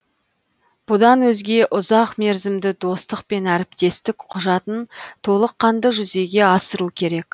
бұдан өзге ұзақмерзімді достық пен әріптестік құжатын толыққанды жүзеге асыру керек